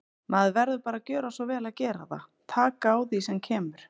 Maður verður bara að gjöra svo vel og gera það, taka á því sem kemur.